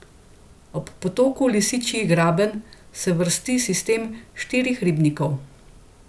Ob potoku Lisičji graben se vrsti sistem štirih ribnikov.